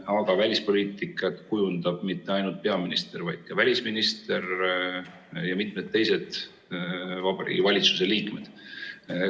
Aga välispoliitikat kujundab mitte ainult peaminister, vaid ka välisminister ja kujundavad mitmed teised Vabariigi Valitsuse liikmed.